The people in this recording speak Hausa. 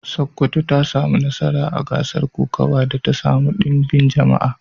Sokoto ta samu nasara a gasar kokawa da ta samu ɗimbin jama'a.